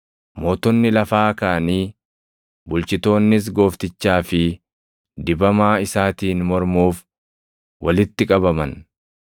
Mootonni lafaa kaʼanii, bulchitoonnis Gooftichaa fi dibamaa + 4:26 yookaan Masiihii isaatiin mormuuf walitti qabaman.’ + 4:26 \+xt Far 2:1,2\+xt*